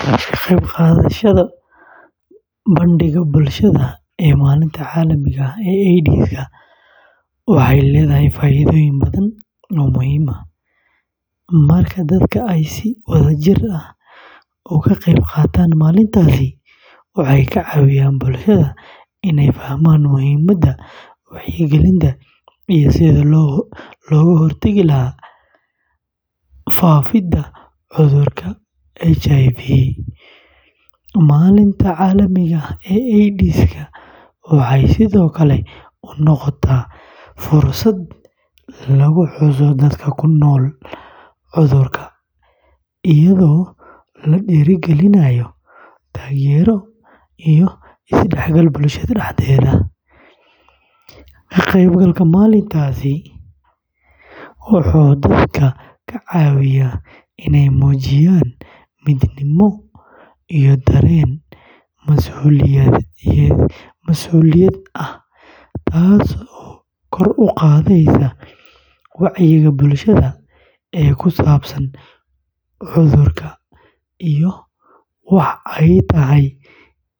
Ka qaybqaadashada bandhigga bulshada ee Maalinta Caalamiga ah ee AIDS-ka waxay leedahay faa’iidooyin badan oo muhiim ah. Marka dadka ay si wadajir ah uga qeyb qaataan maalintaasi, waxay ka caawiyaan bulshada inay fahmaan muhiimadda wacyigelinta iyo sidii looga hortagi lahaa faafidda cudurka HIV. Maalinta Caalamiga ah ee AIDS-ka waxay sidoo kale u noqotaa fursad lagu xuso dadka ku nool cudurka, iyadoo la dhiirrigelinayo taageero iyo isdhexgal bulshada dhexdeeda. Ka qaybgalka maalintan wuxuu dadka ka caawiyaa inay muujiyaan midnimo iyo dareen mas’uuliyad ah, taasoo kor u qaadaysa wacyiga bulshada ee ku saabsan cudurka iyo waxa ay tahay